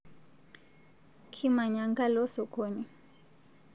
Kimanya nkalo sokoni